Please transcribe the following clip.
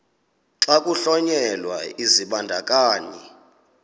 xa kuhlonyelwa isibandakanyi